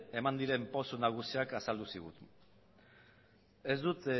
eman diren pausu nagusiak azaldu zizkigun ez dut